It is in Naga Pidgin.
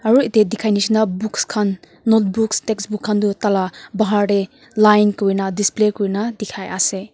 aru itey dikhai nishina books khan notebooks textbooks khan du taila bahar tey line kurina display kurina dikhai ase.